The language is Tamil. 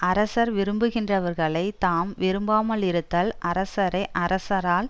அரசர் விரும்புகின்றவர்களைத் தாம் விரும்பாமலிருத்தல் அரசரை அரசரால்